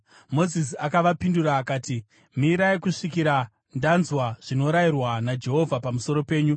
Mozisi akavapindura akati, “Mirai kusvikira ndanzwa zvinorayirwa naJehovha pamusoro penyu.”